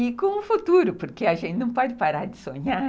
E com o futuro, porque a gente não pode parar de sonhar.